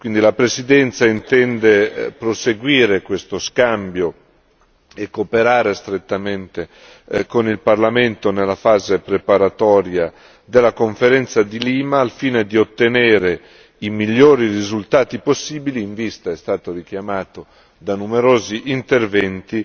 Quindi, la Presidenza intende proseguire questo scambio e cooperare strettamente con il Parlamento nella fase preparatoria della conferenza di Lima, al fine di ottenere i migliori risultati possibili in vista è stato richiamato da numerosi interventi